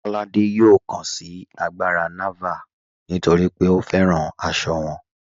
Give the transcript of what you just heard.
Kọládé yọ̀ọ́ kàn sí àgbárà Nàvàl̀ nítorí pé ó fẹ́ràn àṣọ wọn.